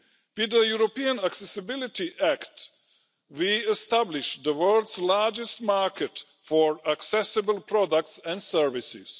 With the European Accessibility Act, we established the world's largest market for accessible products and services.